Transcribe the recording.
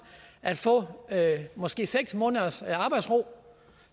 at få måske seks måneders arbejdsro